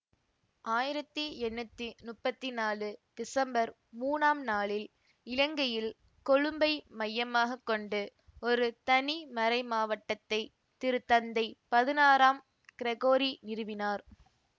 ஆயிரத்தி எண்ணூத்தி முப்பத்தி நாலு திசம்பர் மூனாம் நாளில் இலங்கையில் கொழும்பை மையமாக கொண்டு ஒரு தனி மறைமாவட்டத்தைத் திருத்தந்தை பதினாறாம் கிரகோரி நிறுவினார்